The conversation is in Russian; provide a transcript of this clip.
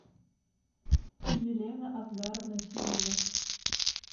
елена асгаровна тилова